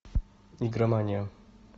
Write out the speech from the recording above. игромания